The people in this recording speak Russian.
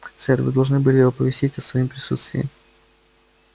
сэр вы должны были оповестить о своём присутствии